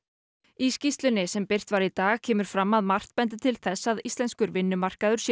í skýrslunni sem birt var í dag kemur fram að margt bendi til þess að íslenskur vinnumarkaður sé